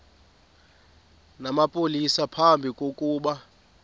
namapolisa phambi kokuba